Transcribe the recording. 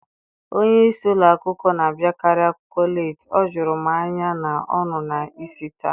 Onye isi ụlọ akwụkwọ na-abịakarị akwụkwọ leeti. O juru m anya na ọ nọ n'isi taa.